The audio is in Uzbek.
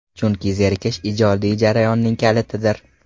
Chunki zerikish ijodiy jarayonning kalitidir.